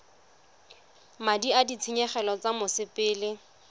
madi a ditshenyegelo tsa mosepele